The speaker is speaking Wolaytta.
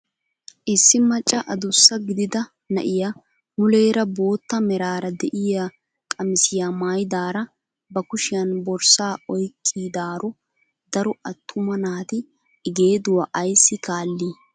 Issi macca adussa gidida na'iyaa muleera bootta meraara de'iyaa qamisiyaa maayidaara ba kushiyaan borssaa oyqqidaro daro attuma naati i geeduwaa ayssi kaallii?